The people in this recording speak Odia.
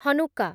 ହନୁକ୍କା